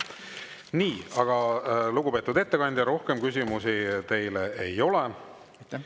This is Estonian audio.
Nii, lugupeetud ettekandja, rohkem küsimusi teile ei ole.